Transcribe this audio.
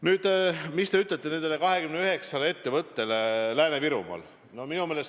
Nüüd, mida te ütlete nendele 29 ettevõttele Lääne-Virumaal?